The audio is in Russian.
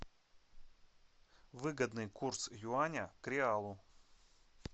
выгодный курс юаня к реалу